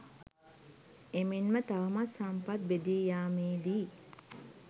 එමෙන්ම තවමත් සම්පත් බෙදී යාමේදී